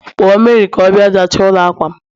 Kpọọ Mary ka ọ bịa zachaa ụlọ akwa'm